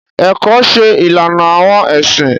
Ẹkọ ṣe ìlànà awọn ẹsin.